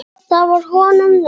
Það var honum nóg.